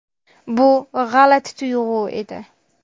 Bu g‘alati tuyg‘u edi.